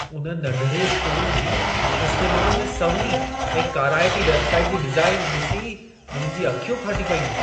उन नंढिड़े स्टोर जी, इस्तेमाल में सवली ऐं काराइती वेबसाइट जी डिज़ाइन ॾिसी मुंहिंजूं अखियूं फाटी पयूं।